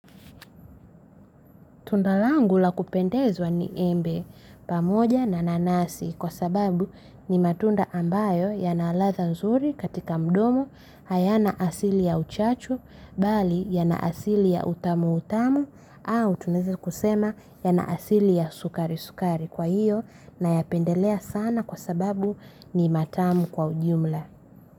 Tunda langu la kupendezwa ni embe pamoja na nanasi kwa sababu, ni matunda ambayo yana ladha nzuri katika mdomo, hayana asili ya uchachu, mbali yana asili ya utamu utamu. Au tunaweza kusema yana asili ya sukari sukari. Kwa hiyo, nayapendelea sana kwa sababu ni matamu kwa ujumla.